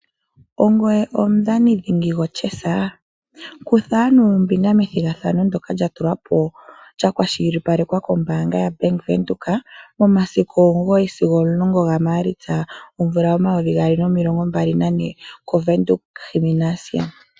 Ongoye omudhani dhingi goChess? Kutha ano ombinga methigathano ndjoka lyatulwapo lyakwashilipalekwa koBank Windhoek momasiku omugoyi sigo omulongo gaMaalitsa omvula omayovi gaali nomilongo mbali nane koWindhoek Gymnasium.